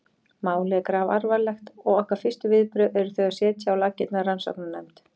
Málið er grafalvarlegt og okkar fyrstu viðbrögð eru þau að setja á laggirnar rannsóknarnefnd.